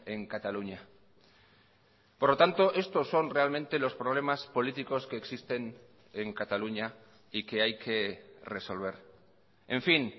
en cataluña por lo tanto estos son realmente los problemas políticos que existen en cataluña y que hay que resolver en fin